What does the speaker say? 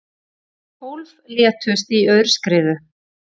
Tólf létust í aurskriðu